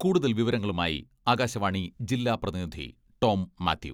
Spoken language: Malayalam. കൂടുതൽ വിവരങ്ങളുമായി ആകാശവാണി ജില്ലാ പ്രതിനിധി ടോം മാത്യു....